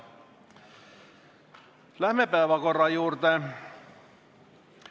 Läheme päevakorra juurde.